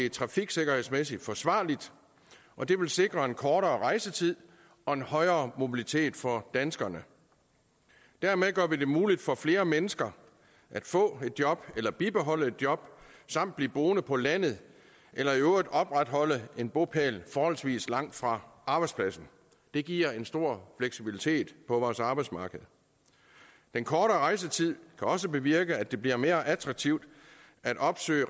er trafiksikkerhedsmæssigt forsvarligt og det vil sikre en kortere rejsetid og en højere mobilitet for danskerne dermed gør vi det muligt for flere mennesker at få et job eller bibeholde et job samt blive boende på landet eller i øvrigt opretholde en bopæl forholdsvis langt fra arbejdspladsen det giver en stor fleksibilitet på vores arbejdsmarked den kortere rejsetid kan også bevirke at det bliver mere attraktivt at opsøge